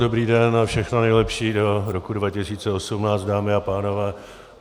Dobrý den a všechno nejlepší do roku 2018, dámy a pánové.